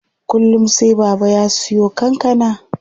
Kullum sai Baba ya siyo kankana.